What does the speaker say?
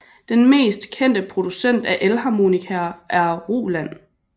Den mest kendte producent af Elharmonikaer er Roland